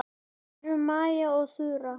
Kæru Maja og Þura.